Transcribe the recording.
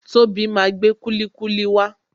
Tobi máa gbé kulikuli wa